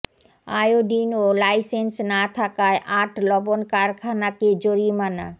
iodine ও licence না থাকায় আট লবণ কারখানাকে জরিমানা